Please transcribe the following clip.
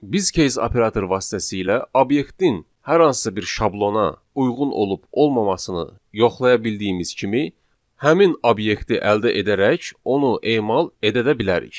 Biz case operatoru vasitəsilə obyektin hər hansı bir şablona uyğun olub-olmamasını yoxlaya bildiyimiz kimi, həmin obyekti əldə edərək onu emal edə də bilərik.